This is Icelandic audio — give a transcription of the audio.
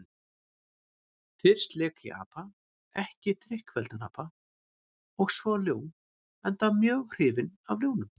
Fyrst lék ég apa, ekki drykkfelldan apa, og svo ljón, enda mjög hrifinn af ljónum.